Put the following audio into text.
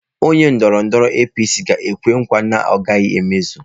Onye ndọrọndọrọ APC ga-ekwe nkwa na ọ gaghị emezu.